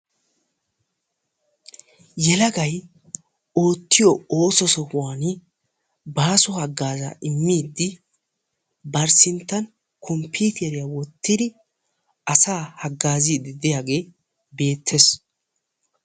yelagay oottiyoo ooso sohuwaan baaso hagaazzaa immiidi bari sinttan komppiteriyaa woottidi asaa hagaazziidi de'iyaagee beettees.